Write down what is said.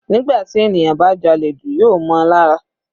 Nígbà tí ènìyàn bá jalè jù yóò mọ́ on lára.